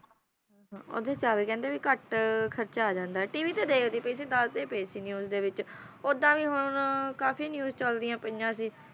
ਪਿੰਡ ਵਿਖੇ ਰੇਲ ਟਿਕਟਾਂ ਤੇ ਲੇਖ ਦੀਆਂ ਵੰਡੀਜਲਾਲਆਂ ਇੱਕ ਲੱਖ ਕਾਪੀਆਂ ਛਾਪੀਆਂ ਗਈਆਂ